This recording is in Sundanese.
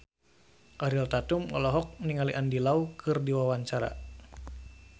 Ariel Tatum olohok ningali Andy Lau keur diwawancara